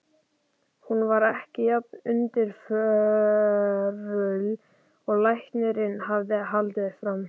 Hún var ekki jafn undirförul og læknirinn hafði haldið fram.